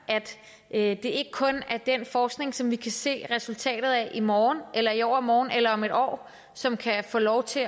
er ikke kun er den forskning som vi kan se resultatet af i morgen eller i overmorgen eller om et år som kan få lov til